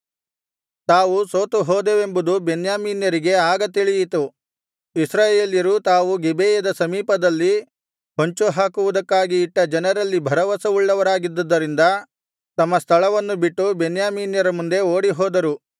ತಾವು ಸೋತುಹೋದೆವೆಂಬುದು ಬೆನ್ಯಾಮೀನ್ಯರಿಗೆ ಆಗ ತಿಳಿಯಿತು ಇಸ್ರಾಯೇಲ್ಯರು ತಾವು ಗಿಬೆಯದ ಸಮೀಪದಲ್ಲಿ ಹೊಂಚು ಹಾಕುವುದಕ್ಕಾಗಿ ಇಟ್ಟ ಜನರಲ್ಲಿ ಭರವಸವುಳ್ಳವರಾಗಿದ್ದರಿಂದ ತಮ್ಮ ಸ್ಥಳವನ್ನು ಬಿಟ್ಟು ಬೆನ್ಯಾಮೀನ್ಯರ ಮುಂದೆ ಓಡಿಹೋದರು